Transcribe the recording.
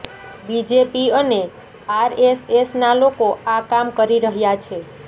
BJP અને આરએસએસના લોકો આ કામ કરી રહ્યા છે